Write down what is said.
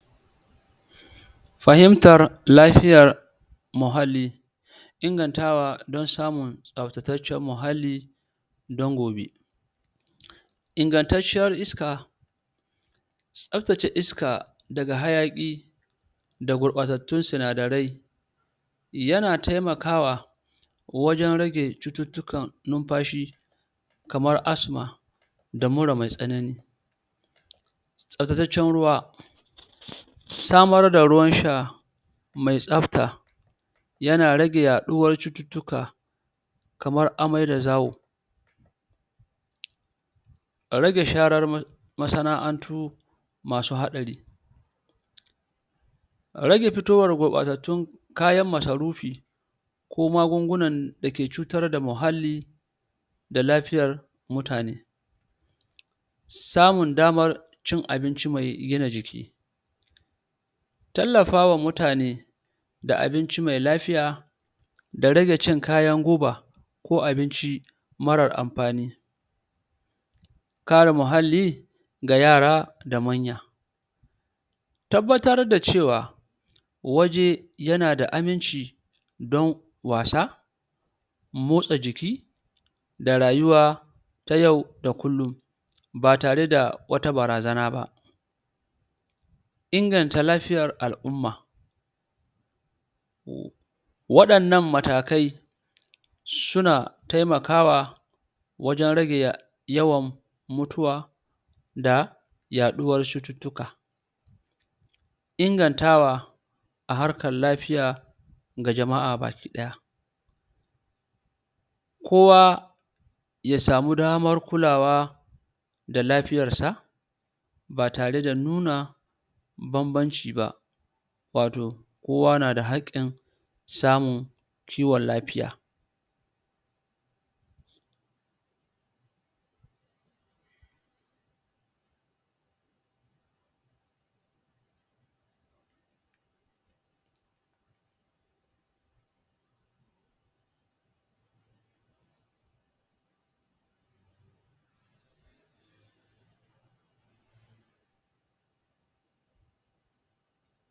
fahimtar lafiya muhalli ingantawa don samun tsaftataccen muhalli don gobe ingantanciyar iska tsaftace iska daga hayaki da gurɓatattun sinadarai yana taimakawa wajen rage cututtukan numfashi kamar asthma da mura mai tsanani tsaftataccen ruwa samar da ruwan sha mai tsafta yana rage yaɗuwar cututtuka kamar amai da zawo rage sharar masana'antu masu haɗari rage fitowar gurɓatattun kayan masarufi ko magungunan dake cutar da mahalli da lafiyar mutane samun damar cin abinci me gina jiki tallafawa mutane da abinci mai lafiya da rage cin kayan guba ko abinci marar amfani kare mahalli ga yara da manya tabbatar da cewa waje yanada aminci don wasa motsa jiki da rayuwa ta yau da kullum ba tare da wata barazana ba inganta lafiyar al umma waɗannan matakai suna taimakawa wajen rage yawan mutuwa da yaɗuwar cututtuka ingantawa a harkar lafiya ga jama'a baki ɗaya kowa yasamu damar kulawa da lafiyarsa ba tare da nuna bambanci ba wato kowa nada hakkin samun kiwon lafiya